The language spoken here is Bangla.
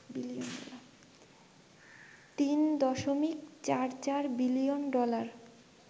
৩.৪৪ বিলিয়ন ডলার